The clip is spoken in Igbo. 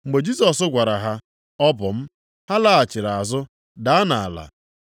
Mgbe Jisọs gwara ha, “Ọ bụ m,” ha laghachiri azụ, daa nʼala.